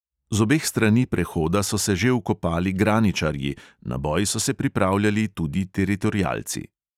Z obeh strani prehoda so se že vkopali graničarji, na boj so se pripravljali tudi teritorialci.